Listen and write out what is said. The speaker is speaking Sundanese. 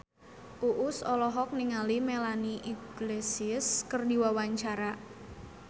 Uus olohok ningali Melanie Iglesias keur diwawancara